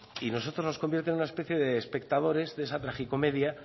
y a nosotros nos convierte en una especie de espectadores de esa tragicomedia